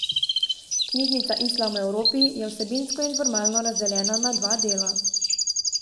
Knjižica Islam v Evropi je vsebinsko in formalno razdeljena na dva dela.